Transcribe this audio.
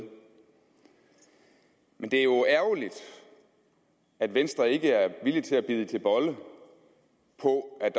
men det er jo ærgerligt at venstre ikke er villig til at bide til bolle på at